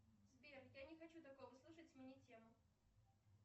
сбер я не хочу такое слушать смени тему